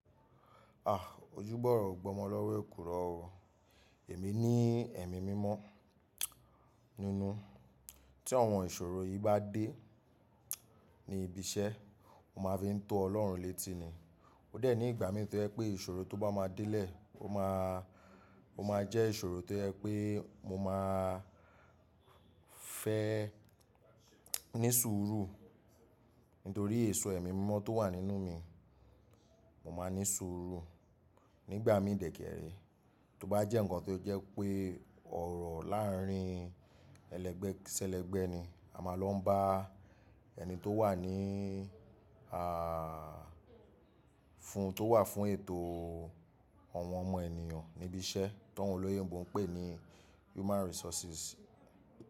A! Ojúbọ̀rọ́ ò gbọmọ lọ́wọ́ èkùrọ́ o. Èmi ní ẹ̀mí mímọ́ nínú, tí àwọn ìṣòro yìí bá dé ní ibi iṣẹ́, mo máa fi ń tó ọlọ́run létí ni. Ó dẹ̀ ní ìgbà míì tó jẹ́ pé ìṣòro tó bá máa délẹ̀, ó máa, ó máa jẹ́ ìṣòro tó jẹ́ pé mo máa fẹ́ ní sùúrù. Nítorí èso ẹ̀mí mímọ́ tó wà nínú mi, mo máa ní sùúrù nígbà mí dẹ̀kẹ̀rẹ́. Tó bá jẹ́ nǹkan tó jẹ́ pé ọ̀rọ̀ láàárín ẹlẹgbẹ́ sí ẹlẹgbẹ́ ni, a máa lọ ń bá ẹni tó wà ní fún, tó wà fún ètò àwọn ọmọ ènìyàn níbi iṣẹ́, táwọn olóyìnbó ń pè ní human resources.